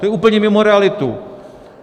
To je úplně mimo realitu!